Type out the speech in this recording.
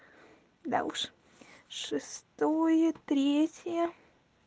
да уж шестое третье